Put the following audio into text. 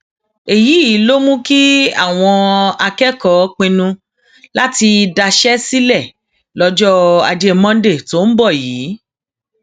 èyí ló mú kí àwọn akẹkọọ pinnu láti daṣẹ sílẹ lọjọ ajé monday tó ń bọ yìí